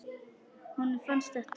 Honum fannst þetta.